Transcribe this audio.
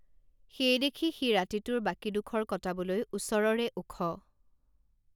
সেইদেখি সি ৰাতিটোৰ বাকীডোখৰ কটাবলৈ ওচৰৰে ওখ